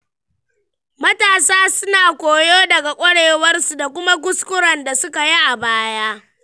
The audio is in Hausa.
Matasa suna koyo daga ƙwarewarsu da kuma kuskuren da suka yi a baya.